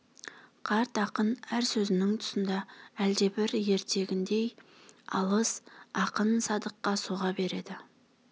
қарт ақын әр сөзінің тұсында әлдебір ертегіндей алыс ақын садыққа соға береді